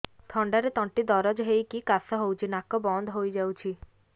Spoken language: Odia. ଥଣ୍ଡାରେ ତଣ୍ଟି ଦରଜ ହେଇକି କାଶ ହଉଚି ନାକ ବନ୍ଦ ହୋଇଯାଉଛି